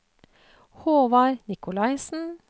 Håvard Nicolaysen